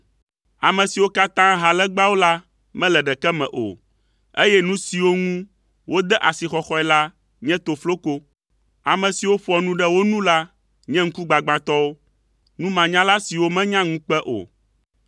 Ame siwo katã ha legbawo la, mele ɖeke me o, eye nu siwo ŋu wode asixɔxɔe la nye tofloko. Ame siwo ƒoa nu ɖe wo nu la nye ŋkugbagbãtɔwo, numanyala siwo menya ŋukpe o.